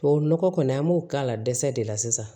Tubabu nɔgɔ kɔni an b'o k'a la dɛsɛ de la sisan